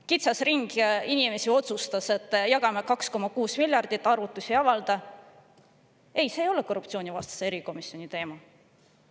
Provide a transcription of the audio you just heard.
Kitsas ring inimesi otsustas, et jagame 2,6 miljardit, arvutusi ei avalda – ei, see ole korruptsioonivastase erikomisjoni teema.